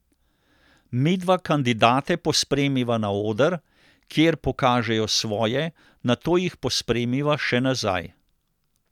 Midva kandidate pospremiva na oder, kjer pokažejo svoje, nato jih pospremiva še nazaj.